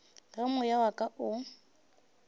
ge moya wa ka o